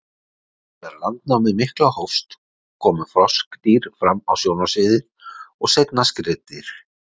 Þegar landnámið mikla hófst komu froskdýr fram á sjónarsviðið og seinna skriðdýr.